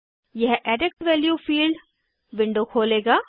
यह edit value field window खोलेगा